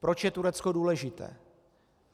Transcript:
Proč je Turecko důležité?